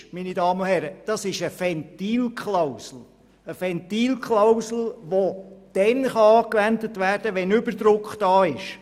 Hier ist nun eine Ventilklausel vorgesehen, die dann angewendet werden kann, wenn Überdruck besteht.